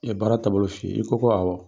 I ye baara taabolo f'i ye i ko ko awɔ.